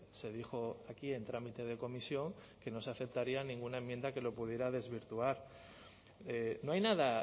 se dijo aquí en trámite de comisión que no se aceptaría ninguna enmienda que lo pudiera desvirtuar no hay nada